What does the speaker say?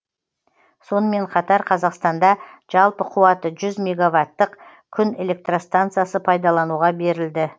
сонымен қатар қазақстанда жалпы қуаты жүз меговаттық күн электростанциясы пайдалануға берілді